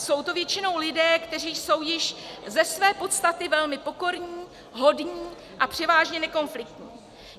Jsou to většinou lidé, kteří jsou již ze své podstaty velmi pokorní, hodní a převážně nekonfliktní.